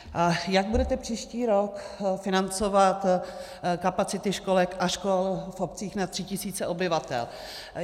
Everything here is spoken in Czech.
Jak budete příští rok financovat kapacity školek a škol v obcích nad 3 tisíce obyvatel?